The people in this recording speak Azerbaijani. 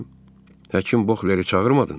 Həkim Bokhleri çağırmadın?